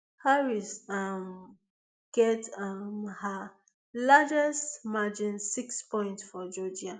harris um get um her largest margin six point for georgia